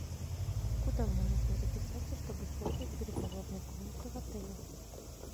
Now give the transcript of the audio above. куда мне нужно записаться чтобы использовать переговорную комнату в отеле